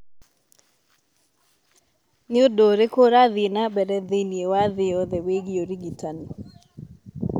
Nĩ ũndũ ũrĩkũ ũrathiĩ na mbere thĩinĩ wa thĩ yothe wĩgiĩ ũrigitani?